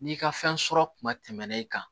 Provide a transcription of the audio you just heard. N'i ka fɛn sɔrɔ kuma tɛmɛnen kan